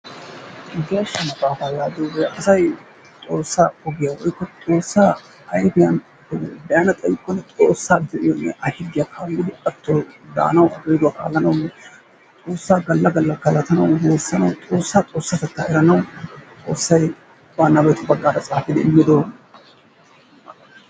Geeshsha maxaafaa yaagiyoogee asay xoossaa ogiyaa woykko xoossaa ayfiyaan be'anna xaykkonne Xoossaa yayiyoonne A higgiya kaallidi a de'enawu a geeduwa kaalanawu xoossaa galla galla galatannawu Xoossaa Xoossatettaa eranawu Xoossay ba nabettu bagaara xaafidi immidogaa.